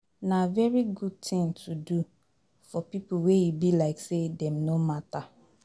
Na very good thing to do for pipo wey e be like say dem no matter